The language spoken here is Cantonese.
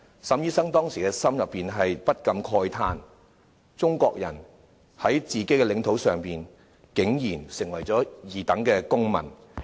沈醫生當時心裏不禁慨嘆，中國人在自己的領土上，竟然淪為二等公民。